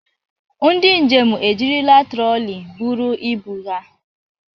Ndị njem ejirila troli buru ibu ha.